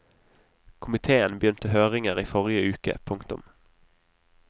Komitéen begynte høringer i forrige uke. punktum